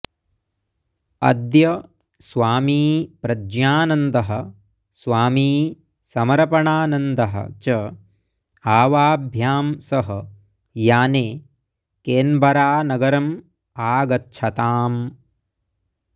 अद्य स्वामी प्रज्ञानन्दः स्वामी समरपणानन्दः च आवाभ्यां सह याने केन्बरानगरम् आगच्छताम्